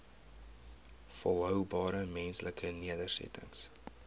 volhoubare menslike nedersettings